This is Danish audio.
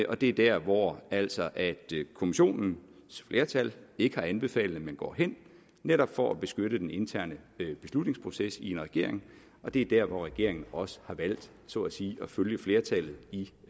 og det er der hvor altså kommissionens flertal ikke har anbefalet man går hen netop for at beskytte den interne beslutningsproces i en regering og det er der hvor regeringen også har valgt så at sige at følge flertallet i